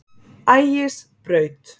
Ægisbraut